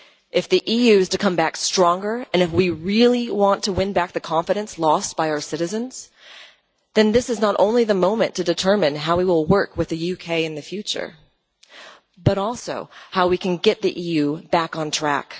If the EU is to come back stronger and if we really want to win back the confidence lost by our citizens, then this is not only the moment to determine how we will work with the UK in the future, but also how we can get the EU back on track.